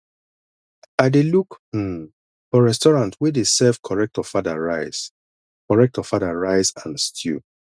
i dey look um restaurant wey dey serve correct ofada rice correct ofada rice and stew